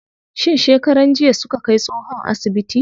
Shin shekaran jiya suka kai tsohon asibiti?